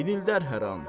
İnildər hər an.